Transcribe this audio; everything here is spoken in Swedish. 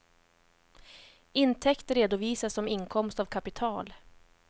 Intäkter redovisas som inkomst av kapital.